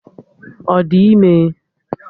Ọ di ime?